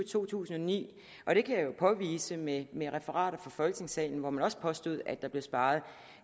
to tusind og ni og det kan jeg jo påvise med med referater fra folketingssalen hvor man også påstod at der blev sparet